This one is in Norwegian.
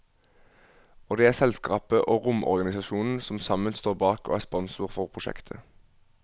Og det er selskapet og romorganisasjonen som sammen står bak og er sponsor for prosjektet.